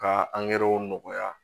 Ka angɛrɛw nɔgɔya